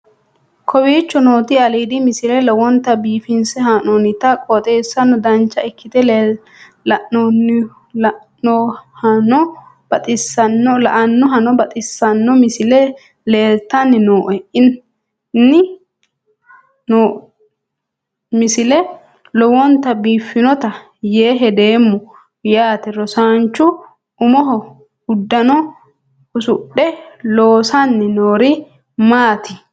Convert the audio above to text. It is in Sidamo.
kowicho nooti aliidi misile lowonta biifinse haa'noonniti qooxeessano dancha ikkite la'annohano baxissanno misile leeltanni nooe ini misile lowonta biifffinnote yee hedeemmo yaate rosaanchu umoho uddano usudhe loosanni noori maaati